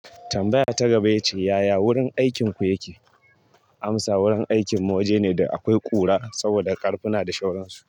Tambaya ta gaba ya ce, yaya wurin aikinku yake? Amsa wurin aikin mu waje ne da akwai ƙura saboda ƙarfuna da sauransu.